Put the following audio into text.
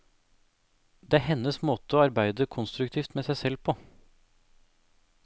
Det er hennes måte å arbeide konstruktivt med seg selv på.